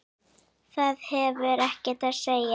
Það hafði ekkert að segja.